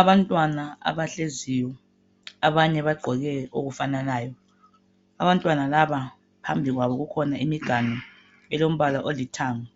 Abantwana abahleziyo, abanye bagqoke okufananayo. Abantwana laba phambi kwabo kukhona imiganu elombala olithanga.